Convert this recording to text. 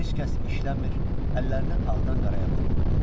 Heç kəs işləmir, əllərini ağdan qaraya vurmurdular.